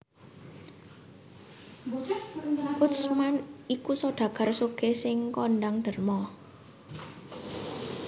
Utsman iku sodagar sugih sing kondhang derma